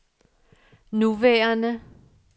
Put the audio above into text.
nuværende